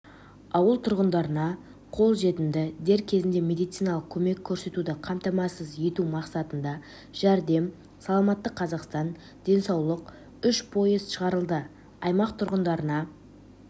ауыл тұрғындарына қол жетімді дер кезінде медициналық көмек көрсетуді қамтамасыз ету мақсатында жәрдем саламатты қазақстан денсаулық үш поезд шығарылды аймақ тұрғындарына